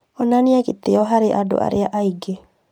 Onanie gĩtĩĩo harĩ andũ arĩa angĩ